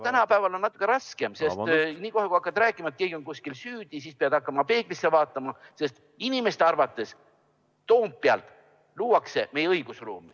Tänapäeval on natuke raskem, sest niipea, kui hakkad rääkima, et keegi on kuskil süüdi, pead hakkama peeglisse vaatama, sest inimeste arvates Toompeal luuakse meie õigusruumi.